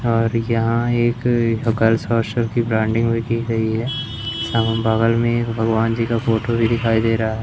और यहां एक गर्ल्स हॉस्टल की ब्रांडिंग हुई की गई है बगल में एक भगवान जी का फोटो भी दिखाई दे रहा है।